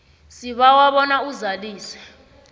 sibawa bona uzalise